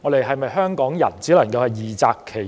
香港人是否只能二擇其一？